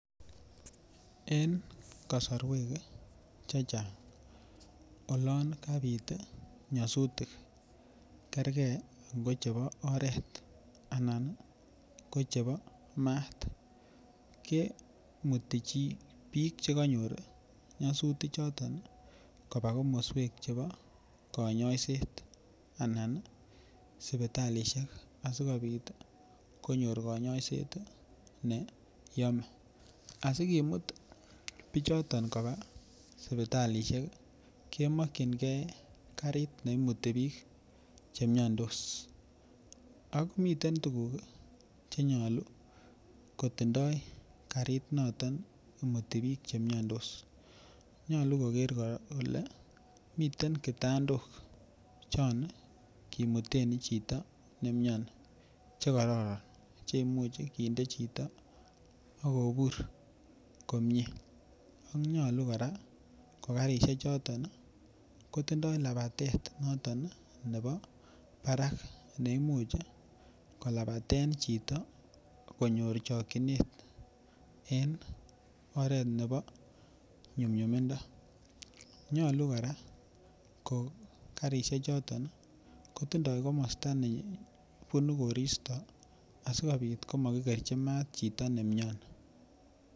En kasorwek che chang olon kabit nyosutik kerkei ngochebo oret ana ngo chebo maat kemuti biik chekanyor nyasutik choton koba komoswek chebo konyoiset anan sipitalishek asikobit konyor konyoiset ne yomei asikemut biichoton koba sipitalishek kemokchinigei karit neimuti biik chemiandos ak miten tukuk chenyalu kotindoi karit noton imutin biik chemiandos nyalu koker kole miten kitandok chon kimuten chito neimioni chekororon cheimuchi kinde chito akobur komie ak nyolu kora ko karishek choton kotindoi labatet noton nebo barak neimuch kolabaten chito konyor chokchinet en oret nebo nyumnyumindo nyolu kora ko karishek choton kotindoi komosta nebunu koristo asikobit komakikerchi maat chito neimioni.